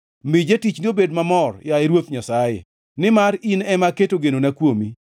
Mi jatichni obed mamor, yaye Ruoth Nyasaye, nimar in ema aketo genona kuomi.